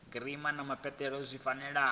girama na mupeleto zwi fanela